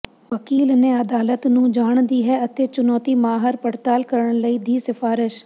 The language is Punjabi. ਵਕੀਲ ਨੇ ਅਦਾਲਤ ਨੂੰ ਜਾਣ ਦੀ ਹੈ ਅਤੇ ਚੁਣੌਤੀ ਮਾਹਰ ਪੜਤਾਲ ਕਰਨ ਲਈ ਦੀ ਸਿਫਾਰਸ਼